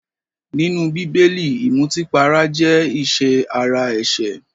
Nínú bíbélì, ìmùtípara jẹ́ ìṣe ara ẹ̀ṣẹ̀